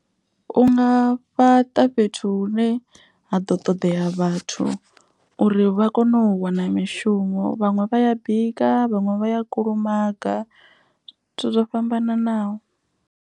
U nga fhaṱa fhethu hu ne ha ḓo ṱoḓea vhathu. Uri vha kone u wana mishumo vhaṅwe vha ya bika vhaṅwe vha ya kulumaga zwithu zwo fhambananaho.